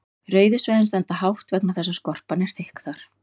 rauðu svæðin standa hátt vegna þess að skorpan er þykk þar